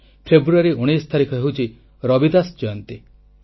ଫେବୃୟାରୀ 19 ତାରିଖ ହେଉଛି ରବିଦାସ ଜୟନ୍ତୀ